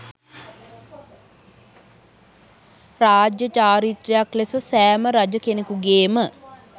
රාජ්‍ය චාරිත්‍රයක් ලෙස සෑම රජ කෙනෙකුගේම